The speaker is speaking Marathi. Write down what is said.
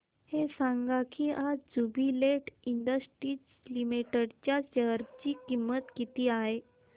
हे सांगा की आज ज्युबीलेंट इंडस्ट्रीज लिमिटेड च्या शेअर ची किंमत किती आहे